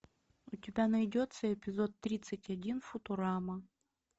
у тебя найдется эпизод тридцать один футурама